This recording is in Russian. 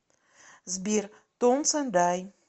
сбер тонс энд ай